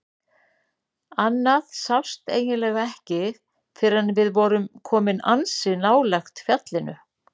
Annað sást eiginlega ekki fyrr en við vorum komin ansi nálægt fjallinu.